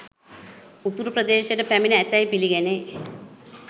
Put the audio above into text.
උතුරු ප්‍රදේශයට පැමිණ ඇතැයි පිළිගැනේ